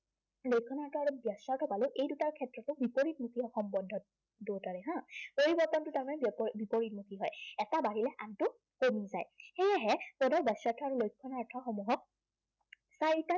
লক্ষণাৰ্থ আৰু বাচ্য়াৰ্থ পালো, এই দুটাৰ ক্ষেত্ৰতো বিপৰীতমুখী সম্বন্ধ দুয়োটাৰে হা। পৰিৱৰ্তনটো তাৰমানে বিপৰীতমুখী হয়। এটা বাঢ়িলে আনটো কমি যায়। সেয়েহে পদৰ বাচ্য়াৰ্থ আৰু লক্ষণাৰ্থসমূহক চাৰিটা